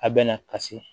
A bɛ na ka se